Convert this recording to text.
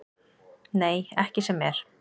Nei, ekki sem er.